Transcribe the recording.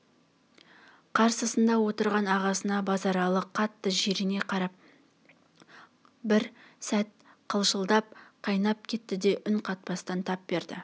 қарсысында отырған ағасына базаралы қатты жирене қарап қап бір сәт қалшылдап қайнап кетті де үн қатпастан тап берді